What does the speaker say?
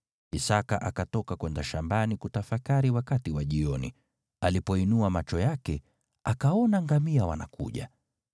Isaki akatoka kwenda shambani kutafakari wakati wa jioni, alipoinua macho yake, akaona ngamia wanakuja.